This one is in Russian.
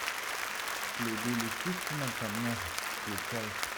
следы лисицы на камнях включай